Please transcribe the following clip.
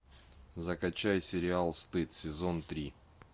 закачай сериал стыд сезон три